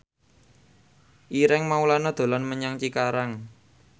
Ireng Maulana dolan menyang Cikarang